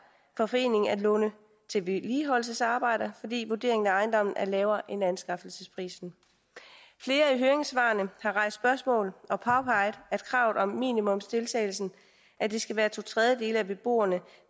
for foreningen at låne til vedligeholdelsesarbejder fordi vurderingen af ejendommen er lavere end anskaffelsesprisen flere af høringssvarene har rejst spørgsmål og påpeget kravet om at minimumsdeltagelsen skal være to tredjedele af beboerne